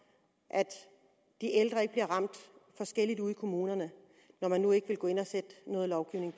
at de ældre ikke bliver ramt forskelligt ude i kommunerne når man nu ikke vil gå ind